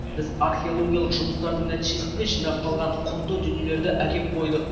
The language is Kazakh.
біз археологиялық жұмыстардың нәтижесінде жинақталған құнды дүниелерді әкеп қойдық